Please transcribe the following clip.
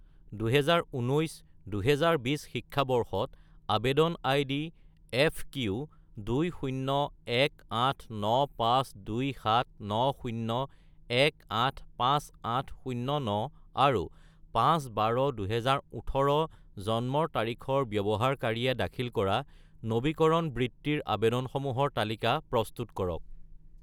2019 - 2020 শিক্ষাবৰ্ষত আবেদন ID FQ2018952790185809 আৰু 5-12-2018 জন্মৰ তাৰিখৰ ব্যৱহাৰকাৰীয়ে দাখিল কৰা নবীকৰণ বৃত্তিৰ আবেদনসমূহৰ তালিকা প্ৰস্তুত কৰক